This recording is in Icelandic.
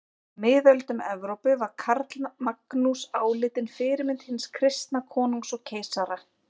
Á miðöldum Evrópu var Karlamagnús álitinn fyrirmynd hins kristna konungs og keisara.